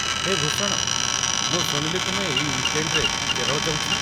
ହେ ଭୂଷଣ, ମୁଁ ଶୁଣିଲି ତୁମେ ଏଇ ୱିକେଣ୍ଡ୍‌ରେ କେରଳ ଯାଉଛ ।